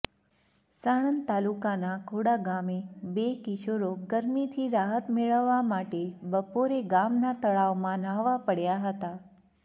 સાણંદ તાલુકાનાં ખોડા ગામે બે કિશોરોગરમીથી રાહત મેળવવા માટેબપોરે ગામનાં તળાવમાં ન્હાવા પડયા હતા